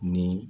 Ni